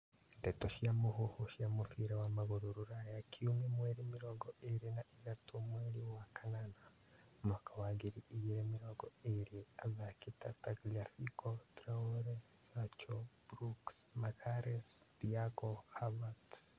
Ndeto cia mũhuhu cia mũbira wa magũrũ Rũraya kiumia mweri mĩrongo ĩrĩ na ithatũ mweri wa kanana mwaka wa ngiri igĩrĩ mĩrongo ĩrĩ athaki ta Tagliafco, Traore, Sancho, Brooks, Magalhaes, Thiago, Havertz